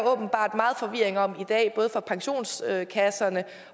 åbenbart meget forvirring om i dag både fra pensionskassernes